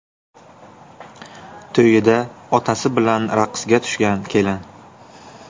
To‘yida otasi bilan raqsga tushgan kelin.